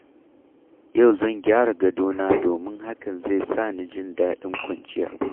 Yau zan gyara gadona domin hakan zai sa na ji daɗin kwanciya.